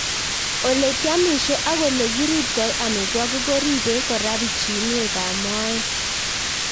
Ole kiamishe ak ole kiriptoi amitwogik ko ripei kora pichinwek ab moet